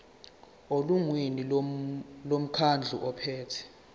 elungwini lomkhandlu ophethe